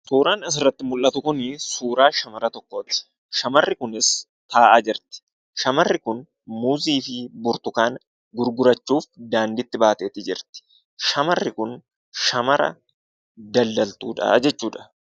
Suuraan asirratti mul'atu kun suuraa shamara tokkooti. Shamarri kunis taa'aa jirti. Shamarri kun muuzii fi burtukaana gurgurachuuf daandiitti baatee jirti. Shamarri kun shamara daldaltuudha jechuudha.